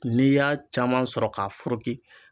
N'i y'a caman sɔrɔ k'a foroki